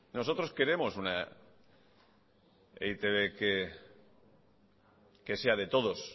nosotros queremos una e i te be que sea de todos